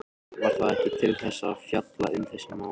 Var það ekki til þess að fjalla um þessi mál?